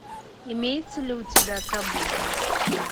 имеется ли у тебя табу